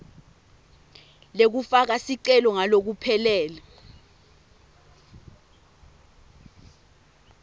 lekufaka sicelo ngalokuphelele